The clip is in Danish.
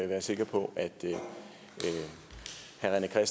være sikker på at herre